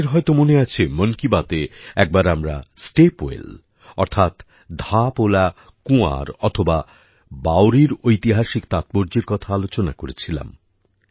আপনাদের হয়ত মনে আছে মন কি বাতে একবার আমরা স্টেপ ওয়েল অর্থাৎ ধাপওলা কুয়ার অথবা বাওড়ির ঐতিহাসিক তাৎপর্যের কথা আলোচনা করেছিলাম